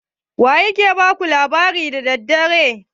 Wa ya ke ba ku labari da dare?